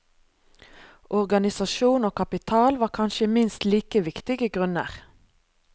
Organisasjon og kapital var kanskje minst like viktige grunner.